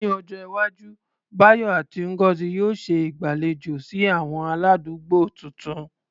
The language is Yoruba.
Ní ọjọ́ iwájú, Bayo àti Ngozi yóò ṣe ìgbàlejò sí àwọn aládùúgbò tuntun.